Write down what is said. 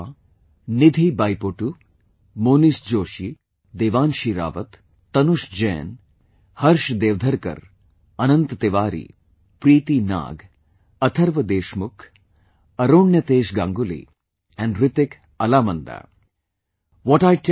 They are Nidhi Baipotu, Monish Joshi, Devanshi Rawat, Tanush Jain, Harsh Devdharkar, Anant Tiwari, Preeti Nag, Atharva Deshmukh, Aronyatesh Ganguli & Hrithik Alaamandaa